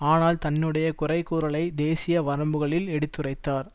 ஆனால் தன்னுடைய குறை கூறலை தேசிய வரம்புகளில் எடுத்துரைத்தார்